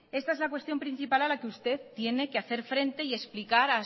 esta es la cuestión principal a la que usted tiene que hacer frente y explicar